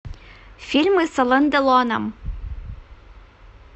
фильмы с ален делоном